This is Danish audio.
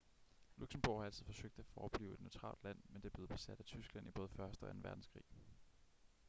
luxembourg har altid forsøgt at forblive et neutralt land men det blev besat af tyskland i både første og anden verdenskrig